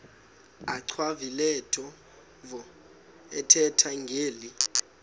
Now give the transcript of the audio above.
achwavitilevo ethetha ngeli